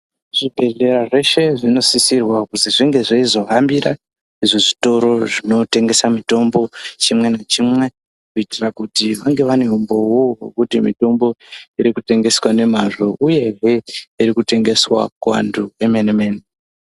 Zvibhedhlera zveshe zvinosisirwa kuti zvinge zveizohambira zvitoro zvinotengesa mitombo, chimwe nachimwe kuitira kuti vange vane umbowo wekuti mitombo iri kutengeswa nemazvo uye iri kutengeswa kuvantu vemene-mene.